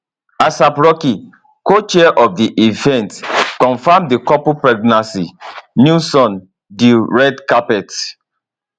aap rocky cochair of di event confam di couple pregnancy newson di red carpet